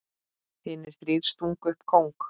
Hinir þrír stungu upp kóng.